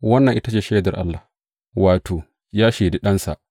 Wannan ita ce shaidar Allah, wato, ya shaidi Ɗansa.